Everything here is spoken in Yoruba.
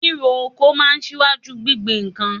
Ríro oko máa ń ṣíwájú gbingbin nǹkan